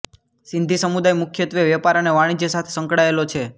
સિંધી સમુદાય મુખ્યત્વે વેપાર અને વાણિજ્ય સાથે સંકળાયેલો છે